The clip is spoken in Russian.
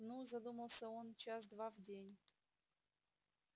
ну задумался он час два в день